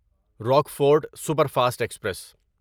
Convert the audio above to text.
Rockfort superfast express